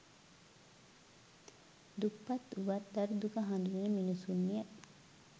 දුප්පත් වුවත් දරු දුක හදුනන මිනිසුන් ය